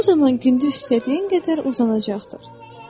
O zaman gündüz istədiyin qədər uzanacaqdır.